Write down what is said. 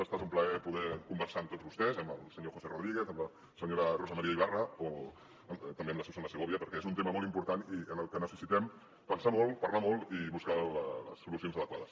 ha esta un plaer poder conversar amb tots vostès amb el senyor josé rodríguez amb la senyora rosa maria ibarra o també amb la susanna segovia perquè és un tema molt important i en el que necessitem pensar molt parlar molt i buscar les solucions adequades